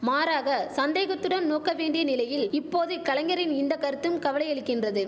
மாறாக சந்தேகத்துடன் நோக்க வேண்டிய நிலையில் இப்போது கலைஞரின் இந்த கருத்தும் கவலையளிக்கின்றது